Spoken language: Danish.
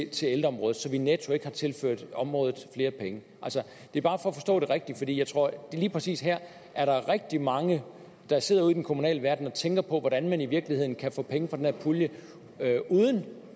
til ældreområdet så vi netto ikke har tilført området flere penge det er bare for at forstå det rigtigt fordi jeg tror at lige præcis her er der rigtig mange der sidder ude i den kommunale verden og tænker på hvordan man i virkeligheden kan få penge fra den her pulje uden